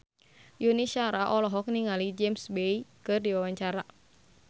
Yuni Shara olohok ningali James Bay keur diwawancara